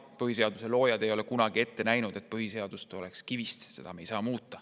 Põhiseaduse loojad ei ole kunagi ette näinud, et põhiseadus on kivist ja seda ei saa muuta.